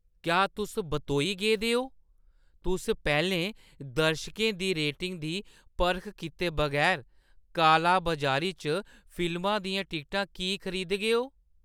क्या तुस बतोई गेदे ओ? तुस पैह्‌लें दर्शकें दी रेटिंग दी परख कीते बगैर कालाबाजारी च फिल्मा दियां टिकटां की खरीदगेओ?